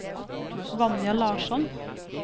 Vanja Larsson